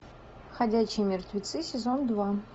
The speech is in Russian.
ходячие мертвецы сезон два